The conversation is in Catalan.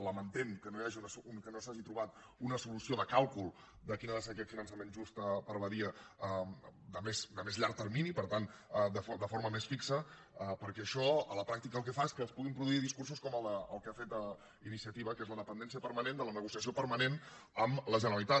lamentem que no s’hagi trobat una solució de càlcul de quin ha de ser aquest finançament just per a badia a més llarg termini per tant de forma més fixa perquè això a la pràctica el que fa és que es puguin produir discursos com el que ha fet iniciativa que és la dependència permanent de la negociació permanent amb la generalitat